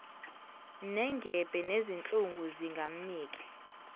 nengebhe nezinhlungu zingamnike